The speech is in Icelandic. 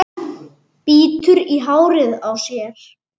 Bítur í hárið á sér.